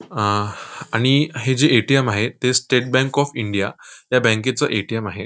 आं आणि हे जे ए.टी.एम. आहे ते स्टेट बँक ऑफ इंडिया या बँके चं ए.टी.एम. आहे.